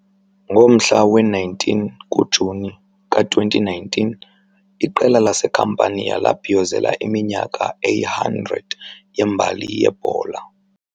Ngomhla we-19 kuJuni ka-2019 iqela laseCampania labhiyozela iminyaka eyi-100 yembali yebhola.